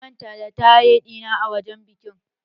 Na manta da taye ɗina a wajen bikin